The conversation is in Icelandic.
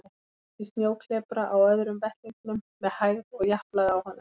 Beit í snjóklepra á öðrum vettlingnum með hægð og japlaði á honum.